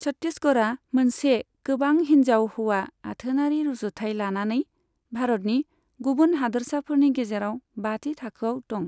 छत्तिसगरआ मोनसे गोबां हिनजाव हौवा आथोनारि रुजुथाय लानानै भारतनि गुबुन हादोरसाफोरनि गेजेराव बाथि थाखोआव दं।